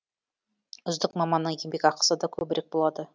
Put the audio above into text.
үздік маманның еңбекақысы да көбірек болады